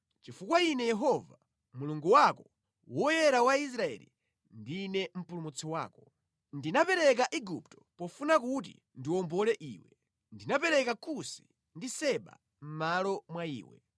Chifukwa Ine Yehova, Mulungu wako, Woyera wa Israeli, ndine Mpulumutsi wako. Ndinapereka Igupto pofuna kuti ndiwombole iwe, ndinapereka Kusi ndi Seba mʼmalo mwa iwe.